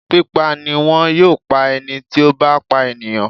Pípa ni wọn yóò pá ẹni tí ó bá pa ènìyàn.